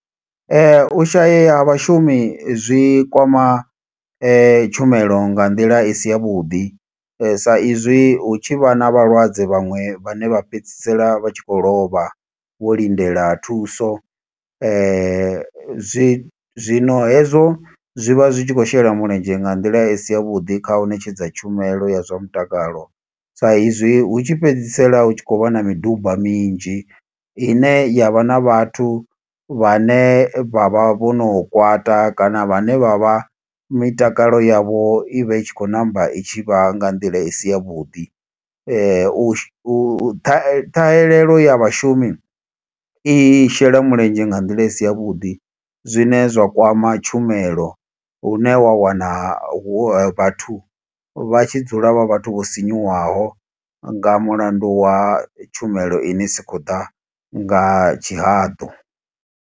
U shayeya ha vhashumi zwi kwama tshumelo nga nḓila i si ya vhuḓi. Sa izwi hu tshi vha na vhalwadze vhaṅwe vhane vha fhedzisela vha tshi khou lovha, vho lindela thuso. Zwi zwino hezwo zwi vha zwi tshi khou shela mulenzhe nga nḓila i si ya vhuḓi kha u ṋetshedza tshumelo ya zwa mutakalo. Sa izwi hu tshi fhedzisela hu tshi khou vha na miduba minzhi, ine yavha na vhathu vhane vha vha vho no kwata kana vhane vha vha mitakalo yavho i vha i tshi khou ṋamba i tshi vha nga nḓila isi ya vhuḓi. U shu, u u ṱhahe, ṱhahelelo ya vhashumi i shela mulenzhe nga nḓila i si ya vhuḓi. Zwine zwa kwama tshumelo, hune wa wana hu vhathu vha tshi dzula vha vhathu vho sinyuwaho, nga mulandu wa tshumelo ine i si khou ḓa nga tshihaḓu.